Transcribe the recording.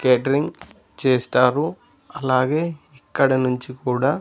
Catering చేస్తారు అలాగే ఇక్కడ నుంచి కూడా.